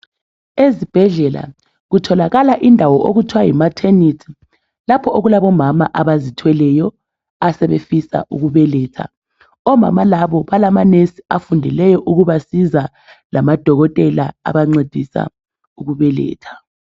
Ezibhedlela kutholakala indawo okuthwa yi maternity lapho okulabomama abazithweleyo asebefisa ukubeletha, omama labo balama nurse afundeleyo ukubasiza lamadokotela abancedisa ukubeletha.